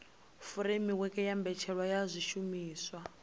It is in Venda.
furemiweke ya mbetshelwa ya zwishumiswa